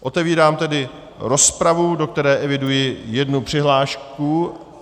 Otevírám tedy rozpravu, do které eviduji jednu přihlášku.